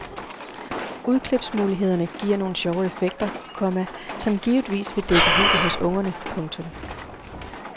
Udklipsmulighederne giver nogle sjove effekter, komma som givetvis vil vække jubel hos ungerne. punktum